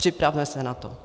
Připravme se na to.